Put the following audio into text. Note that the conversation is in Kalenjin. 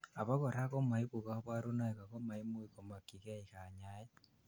abakora komoibu kaborunoik ago maimuch komokyigei kanyaet